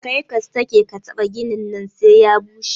Karka sake kataɓa ginin nan sai ya bushe.